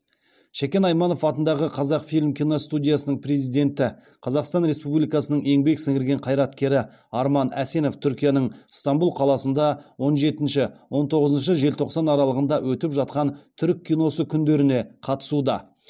шәкен айманов атындағы қазақфильм киностудиясының президенті қазақстан республикасы еңбек сіңірген қайраткері арман әсенов түркияның ыстанбұл қаласында он жетінші он тоғызыншы желтоқсан аралығында өтіп жатқан түркі киносы күндеріне қатысуда